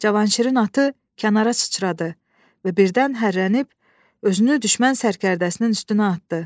Cavanşirin atı kənara çıçradı və birdən hərrənib özünü düşmən sərkərdəsinin üstünə atdı.